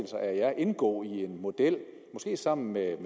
sig aer indgå i en model måske sammen med